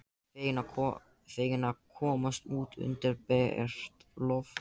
Feginn að komast út undir bert loft.